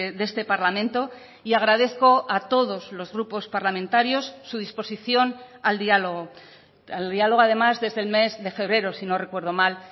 de este parlamento y agradezco a todos los grupos parlamentarios su disposición al diálogo al diálogo además desde el mes de febrero si no recuerdo mal